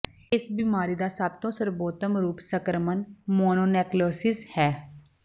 ਇਸ ਬਿਮਾਰੀ ਦਾ ਸਭ ਤੋਂ ਸਰਬੋਤਮ ਰੂਪ ਸੰਕਰਮਣ ਮੋਨੋਨੇਕਲਿਓਸਸ ਹੈ